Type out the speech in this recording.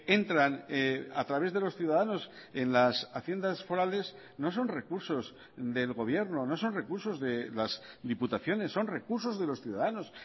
entran a través de los ciudadanos en las haciendas forales no son recursos del gobierno no son recursos de las diputaciones son recursos de los ciudadanos